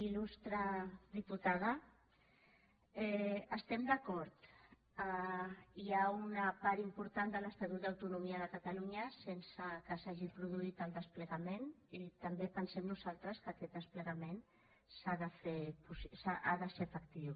il·lustre diputada estem d’acord hi ha una part important de l’estatut d’autonomia de catalunya sense que s’hagi produït el desplegament i també pensem nosaltres que aquest desplegament ha de ser efectiu